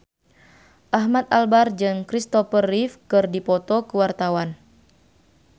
Ahmad Albar jeung Kristopher Reeve keur dipoto ku wartawan